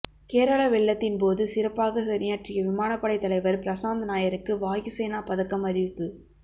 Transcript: கேரள வெள்ளத்தின் போது சிறப்பாக பணியாற்றிய விமானப்படை தலைவர் பிரசாந்த் நாயருக்கு வாயு சேனா பதக்கம் அறிவிப்பு